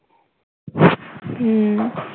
হম